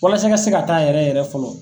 Walasa i ka se ka taa yɛrɛ yɛrɛ fɔlɔ.